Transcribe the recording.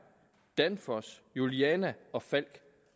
danfoss juliana og falck